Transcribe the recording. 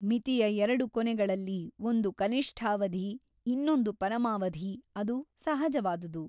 ಮಿತಿಯ ಎರಡು ಕೊನೆಗಳಲ್ಲಿ ಒಂದು ಕನಿಷ್ಠಾವಧಿ ಇನ್ನೊಂದು ಪರಮಾವಧಿ ಅದು ಸಹಜವಾದುದು.